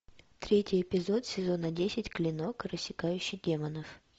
третий эпизод сезона десять клинок рассекающий демонов